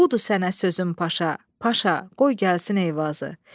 Budur sənə sözüm Paşa, Paşa, qoy gəlsin Eyvazı.